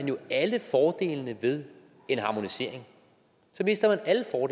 jo alle fordelene ved en harmonisering